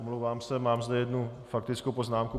Omlouvám se, mám zde jednu faktickou poznámku.